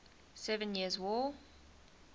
seven years war